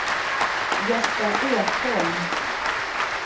Gösta Ekholm